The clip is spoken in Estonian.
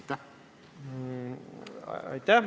Aitäh!